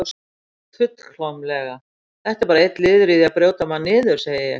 Fullkomlega, þetta er bara einn liður í því að brjóta mann niður, segi ég.